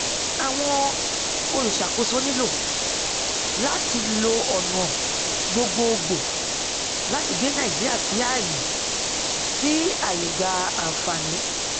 àwọn olùṣàkóso nílò láti lo ọnà gbogboògbò láti gbé nàìjíríà sí àyè sí àyè gba ànfààní